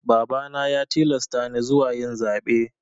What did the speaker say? Babana ya tilasta ni zuwa yin zaɓe.